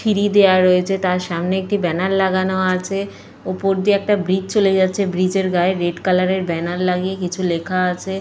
ফিরি দেওয়া রয়েছে। তার সামনে একটি ব্যানার লাগানো আছে। ওপর দিয়ে একটা ব্রিজ চলে যাচ্ছে। ব্রিজ এর গায়ে রেড কালার এর ব্যানার লাগিয়ে কিছু লেখা আছে।